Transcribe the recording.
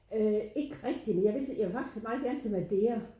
Øh ikke rigtig men jeg vil så jeg vil faktisk meget gerne til Madeira